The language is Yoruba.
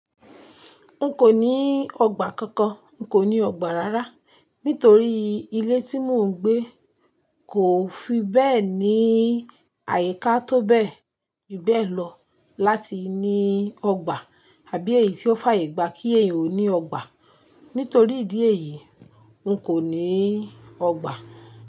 N kò ní ọgbà kankan, n kò ní ọgbà rárá. Nítorí ilé tí mò ń gbé kò fi bẹ́ẹ̀ ní àyíká tó bẹ́ẹ̀ jù bẹẹ lọ láti ní ọgbà àbí èyí tí ó fàyè gba kí èèyàn ó ní ọgbà. Nítorí ìdí èyí, n kò ní ọgbà.